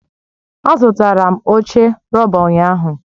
Azụtara m oche rọba ụnyahụ